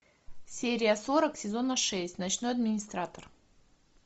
серия сорок сезона шесть ночной администратор